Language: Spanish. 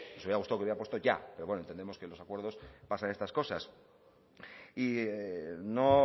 nos hubiese gustado que hubiera puesto ya pero bueno entendemos que en los acuerdos pasan estas cosas y no